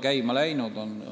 käima läinud?